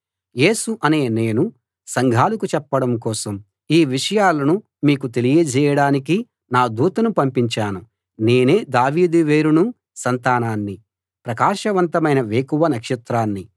యేసు అనే నేను సంఘాలకు చెప్పడం కోసం ఈ విషయాలను మీకు తెలియజేయడానికి నా దూతను పంపించాను నేనే దావీదు వేరునూ సంతానాన్నీ ప్రకాశవంతమైన వేకువ నక్షత్రాన్నీ